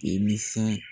Imisan